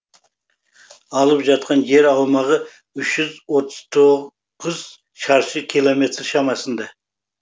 алып жатқан жер аумағы үш жүз отыз тоғыз шаршы километр шамасында